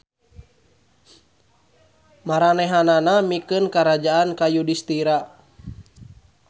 Maranehanana mikeun karajaan ka Yudistira.